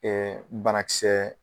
Ɛɛ banakisɛ